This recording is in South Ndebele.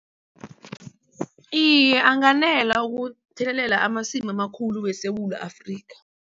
Iye, anganela ukuthelelela amasimu amakhulu weSewula Afrika.